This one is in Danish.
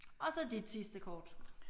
Og så dit sidste kort